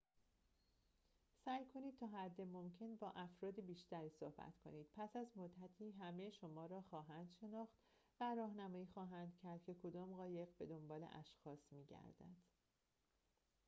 سعی کنید تا حد ممکن با افراد بیشتری صحبت کنید پس از مدتی همه شما را خواهند شناخت و راهنمایی خواهند کرد که کدام قایق به دنبال اشخاص می‌گردد